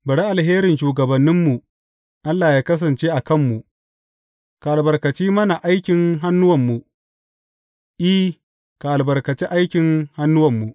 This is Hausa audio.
Bari alherin shugabanmu Allah yă kasance a kanmu; ka albarkaci mana aikin hannuwanmu, I, ka albarkaci aikin hannuwanmu.